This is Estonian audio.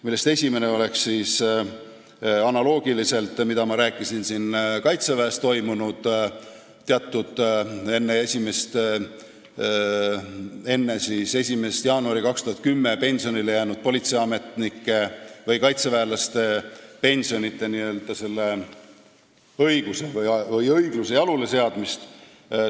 Ma rääkisin siin õigluse jaluleseadmisest kaitseväest enne 1. jaanuari 2010 pensionile jäänud kaitseväelaste pensionide küsimuses.